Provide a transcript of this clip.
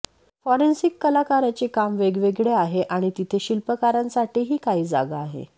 forensic कलाकाराचे काम वेगवेगळे आहे आणि तिथे शिल्पकारांसाठीही काही जागा आहे